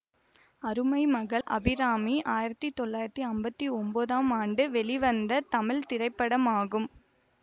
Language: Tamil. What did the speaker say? அருமை மகள் அபிராமி ஆயிரத்தி தொள்ளாயிரத்தி அம்பத்தி ஒன்பதாம் ஆண்டு வெளிவந்த தமிழ் திரைப்படமாகும்